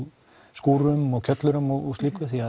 skúrum og kjöllurum og slíku því